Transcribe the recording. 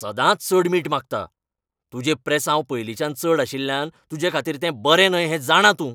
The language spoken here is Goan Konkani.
सदांच चड मीठ मागता! तुजें प्रेसांव पयलींच्यानच चड आशिल्ल्यान तुजेखातीर तें बरें न्हय हें जाणां तूं.